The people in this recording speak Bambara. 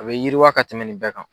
A bɛ yiriwa ka tɛmɛn nin bɛɛ kan.